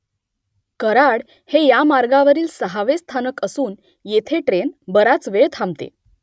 कराड हे या मार्गावरील सहावे स्थानक असून येथे ट्रेन बराच वेळ थांबते